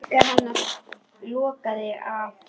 Líkami hennar logaði af þrá.